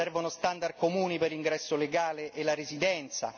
servono standard comuni per l'ingresso legale e la residenza